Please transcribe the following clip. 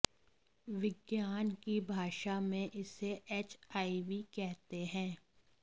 विज्ञान की भाषा में इसे एचआईवी कहते हैं